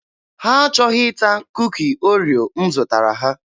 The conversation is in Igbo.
Ha achọghị ịta Kuki Oreo m zụtara ha.